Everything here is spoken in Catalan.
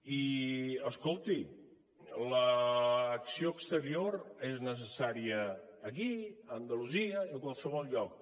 i escolti l’acció exterior és necessària aquí a andalusia i a qualsevol lloc